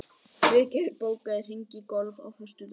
Friðgerður, bókaðu hring í golf á föstudaginn.